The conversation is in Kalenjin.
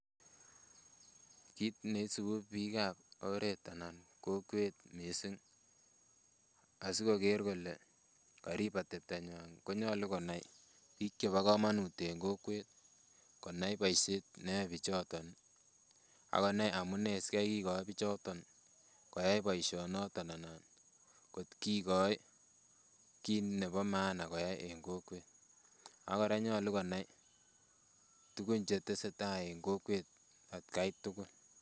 Kit neisibu biikab oret anan kokwet missing asikoker kole korib ateptonywan konyolu konai biik chebo komonut en kokwet konai boisiet neyoe bichoton ih ak konai amunee sikai kikoi bichoton koyai boisioniton anan kot kikoi kit nebo maana koyai en kokwet ak kora koyoche konai tuguk chetesetaa en kokwet atkai tugul